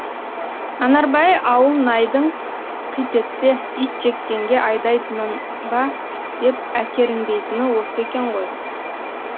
анарбай ауылнайдың қит етсе ит жеккенге айдатынын ба деп әкіреңдейтіні осы екен ғой